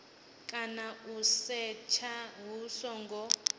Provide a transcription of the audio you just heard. kana u setsha hu songo